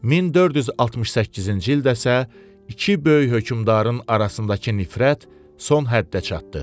1468-ci ildə isə iki böyük hökmdarın arasındakı nifrət son həddə çatdı.